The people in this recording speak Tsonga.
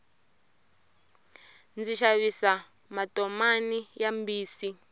ndzi xavisa matomani ya mbisi